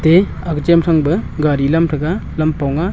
te aga chem thang pa gari lam threga lampong a.